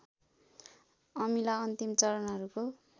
अमिला अन्तिम चरणहरूको